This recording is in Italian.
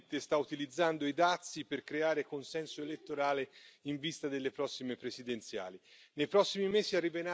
Trump sta evidentemente utilizzando i dazi per creare consenso elettorale in vista delle prossime presidenziali.